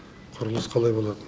құрылыс қалай болады